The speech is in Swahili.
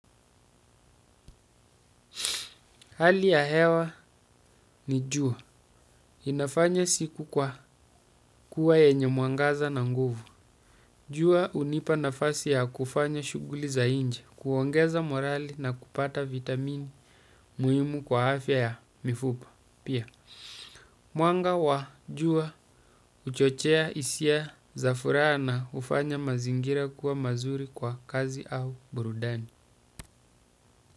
Hali ya hewa ni jua. Inafanya siku kwa kuwa yenye muangaza na nguvu. Juwa unipa nafasi ya kufanya shuguli za inje, kuongeza morali na kupata vitamini muhimu kwa afya ya mifupa. Pia, mwanga wa jua uchochea isia za furaa na ufanya mazingira kuwa mazuri kwa kazi au burudani.